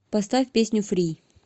поставь песню фри